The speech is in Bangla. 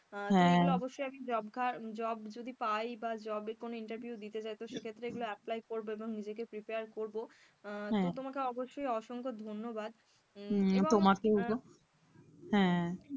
আহ অবশ্যই আমি job যদি পাই বা job যদি কোন interview দিতে যায় সেই ক্ষেত্রে এগুলো apply করব এবং নিজেকে prepare করবো আহ তবে তোমাকে অবশ্যই অসংখ্য ধন্যবাদ, হেঁ,